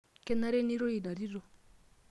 Kenare nirorie ina tito.